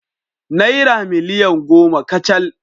Naira miliyan goma kacal